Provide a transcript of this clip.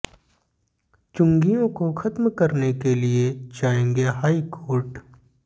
चुंगियों को खत्म करने के लिए जाएंगे हाई कोर्ट